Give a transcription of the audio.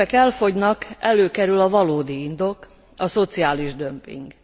Ha az érvek elfogynak, előkerül a valódi indok, a szociális dömping.